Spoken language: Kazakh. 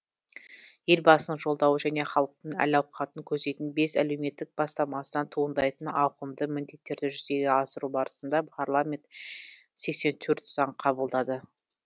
елбасының жолдауы және халықтың әл ауқатын көздейтін бес әлеуметтік бастамасынан туындайтын ауқымды міндеттерді жүзеге асыру барысында парламент сексен төрт заң қабылдады